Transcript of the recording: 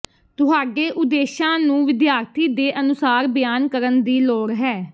ਤੁਹਾਡੇ ਉਦੇਸ਼ਾਂ ਨੂੰ ਵਿਦਿਆਰਥੀ ਦੇ ਅਨੁਸਾਰ ਬਿਆਨ ਕਰਨ ਦੀ ਲੋੜ ਹੈ